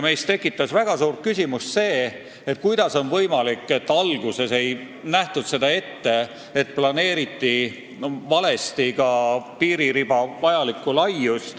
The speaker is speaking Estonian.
Meil tekkis väga suur küsimus, kuidas on võimalik, et seda alguses ette ei nähtud ja planeeriti vale piiririba laius.